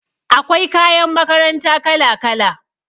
Akwai kayan makaranta kala-kala